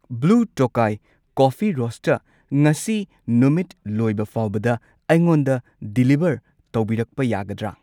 Blue Tokai coffee roaster ꯉꯁꯤ ꯅꯨꯃꯤꯠ ꯂꯣꯢꯕ ꯐꯥꯎꯕꯗ, ꯗꯤꯂꯤꯚꯔ ꯑꯩꯉꯣꯟꯗ ꯗꯤꯂꯤꯚꯔ ꯇꯧꯕꯤꯔꯛꯄ ꯌꯥꯒꯗ꯭ꯔꯥ?